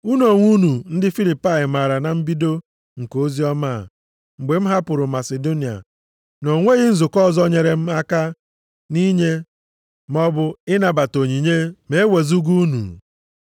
Unu onwe unu ndị Filipai maara na mbido nke oziọma a, mgbe m hapụrụ Masidonia, na o nweghị nzukọ ọzọ nyere m aka nʼinye maọbụ ịnabata onyinye, ma e wezuga unu.